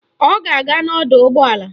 Ọ ga-aga n'ọdọụgbọala